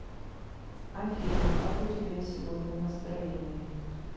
афина как у тебя сегодня настроение